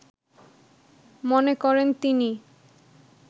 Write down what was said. মনে করেন তিনি